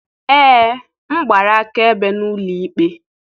Ee m gbara akaebe n'ụlọ ikpe